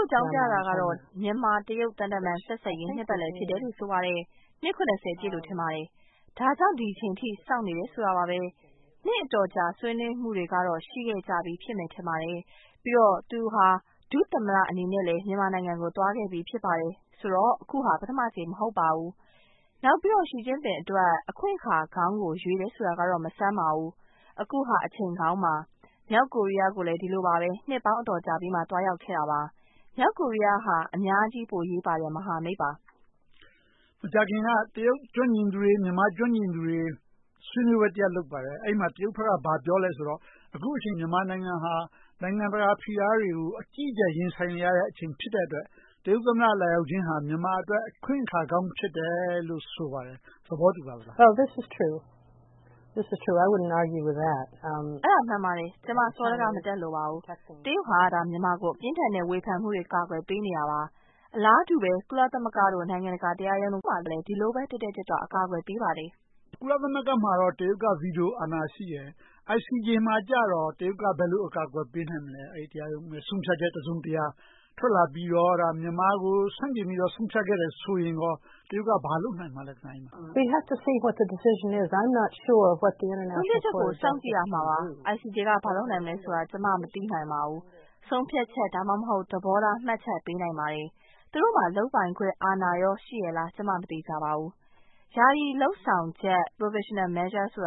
့အကြောင်းပြတာကတော့ မြန်မာ-တရုတ် သံတမန်ဆက်ဆံရေး နှစ်ပတ်လည်လို့ ဆိုပါတယ်။ နှစ် ပြည့်လို့ ထင်ပါတယ်။ ဒါကြောင့် ဒီအချိန်အထိ စောင့်နေတယ်ဆိုပါတယ်။ နှစ်အတော်ကြာ ဆွေးနွေးမှုတွေကတော့ ရှိခဲ့ကြပြီ ထင်ပါတယ်။ ပြီးတော့ သူဟာ ဒုသမ္မတအနေနဲ့လဲ မြန်မာနိုင်ငံကို သွားခဲ့ပြီ ဖြစ်ပါတယ်။ ဆိုတော့ အခုဟာ ပထမအကြိမ် မဟုတ်ပါဘူး။ နောက်ပြီးတော့ Xi Jingpin အတွက် အခွင့်အခါကောင်းကို ရွေးတယ်ဆိုတာကတော့ မဆန်းပါဘူး။ အခုဟာ အချိန်ကောင်းပါ။ မြောက်ကိုရီးယားကိုလည်း ဒီလိုပါပဲ။ နှစ်ပေါင်းအတော်ကြာပြီးမှ သွားရောက်ခဲ့တာပါ။ မြောက်ကိုရီးယားဟာ အများကြီးအရေးပါတဲ့ မဟာမိတ်ပါ။ မေး ။ ။ မကြာခင်က တရုတ်အရေးကျွမ်းကျင်သူတွေ၊ မြန်မာ့အရေးကျွမ်းကျင်သူတွေ ဆွေးနွေးပွဲ လုပ်ပါတယ်။ အဲဒီမှာ တရုတ်ဘက်က ဘာပြောသလဲဆိုတော့ အခုအချိန် မြန်မာနိုင်ငံဟာ နိုင်ငံတကာဖိအားတွေကို အကြီးအကျယ် ရင်ဆိုင်နေရတဲ့အချိန် ဖြစ်တဲ့အတွက် တရုတ်သမ္မတ လာရောက်ခြင်းဟာ မြန်မာအတွက် အခွင့်အခါကောင်း ဖြစ်တယ်လို့ ဆိုပါတယ်။ သဘောတူပါသလား။ ဖြေ ။ ။ အဲဒါမှန်ပါတယ်။ ကျမ စောဒက မတတ်လိုပါဘူး။ တရုတ်ဟာ မြန်မာကို ပြင်းထန်တဲ့ဝေဖန်မှုတွေက ကာကွယ်ပေးနေတာပါ။ အလားတူပဲ ကုလသမဂ္ဂ၊ နိုင်ငံတကာတရားရုံးတို့မှာ ဒီလိုပဲ တက်တက်ကြွကြွ ကာကွယ်ပေးပါတယ်။ မေး ။ ။ ကုလသမဂ္ဂမှာတော့ တရုတ်က ဗီတိုအာဏာ ရှိတယ်။ ICJ မှာတော့ တရုတ်က ဘယ်လိုကာကွယ်ပေးနိုင်မလဲ။ တရားရုံးက ဆုံးဖြတ်ချက် တစုံတရာထွက်လာပြီးတော့ မြန်မာကို ဆန့်ကျင်ပြီးတော့ ဆုံးဖြတ်ခဲ့တယ်ဆိုရင် တရုတ်က ဘာလုပ်ပေးနိုင်မလဲ။ ဖြေ ။ ။ ဆုံးဖြတ်ချက်ကို စောင့်ကြည့်ရမှာပါ။ ICJ က ဘာလုပ်နိုင်မလဲဆိုတာ ကျမ မသိနိုင်ပါဘူး။ ဆုံးဖြတ်ချက်၊ ဒါမှမဟုတ် သဘောထားမှတ်ချက်ပေးနိုင်ပါတယ်။ သူတို့မှာ လုပ်ပိုင်ခွင့်အာဏာကို ရှိရဲ့လား ကျမ မသေချာပါဘူး။ ယာယီလုပ်ဆောင်ချက် Provisional Measures က